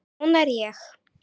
Svona er ég.